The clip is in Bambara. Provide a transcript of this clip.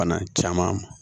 Bana caman